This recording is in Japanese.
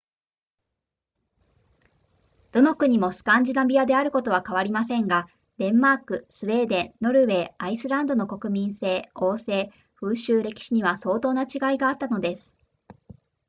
どの国もスカンジナビアであることは変わりませんがデンマークスウェーデンノルウェーアイスランドの国民性王制風習歴史には相当な違いがあったのです